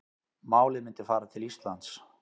Málið myndi fara til Íslands